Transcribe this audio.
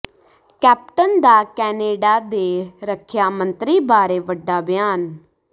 captain ਦਾ Canada ਦੇ ਰੱਖਿਆ ਮੰਤਰੀ ਬਾਰੇ ਵੱਡਾ ਬਿਆਨ